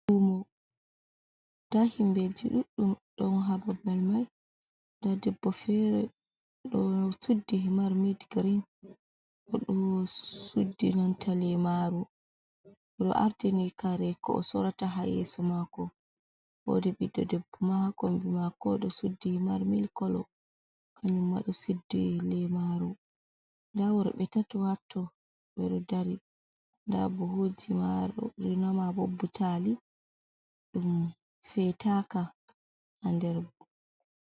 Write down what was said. Lumo, nda himbeji duɗɗum don ha babal mai nda debbo fere do suddi himar mit girin, marudo ardini kare ko o sorata ha yeso mako, woodi ɓiɗɗo debbo ha kombi mako ɗo suddi himar milk kolo, kanuma ɗo suddi lemaru nda worɓe ɓe tato watto ɓe ɗo dari dabbo buhuji marori be bbutali dum fetaka ha nder.